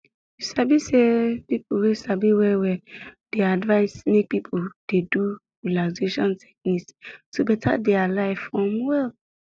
you sabi say people wey sabi well well um dey advise make people dey do dey do relaxation technique to beta their life um well